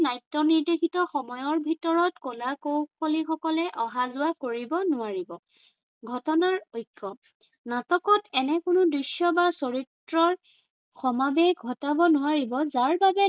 নাট্য় নিৰ্দেশিত সময়ৰ ভিতৰত কলা কৌশলীসকলে অহা-যোৱা কৰিব নোৱাৰিব। ঘটনাৰ ঐক্য়- নাটকত এনে কোনো দৃশ্য় বা চৰিত্ৰৰ সমাবেশ ঘটাব নোৱাৰিব যাৰ বাবে